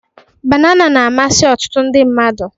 Banana na-amasị ọtụtụ ndị mmadụ.